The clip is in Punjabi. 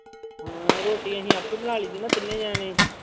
ਹਾਂ ਰੋਟੀ ਅਸੀਂ ਆਪੇ ਬਣਾ ਲਈਦਾ ਨਾ ਤਿੰਨੇ ਜਾਣੇ।